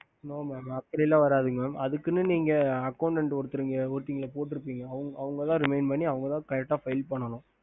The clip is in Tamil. ஹம்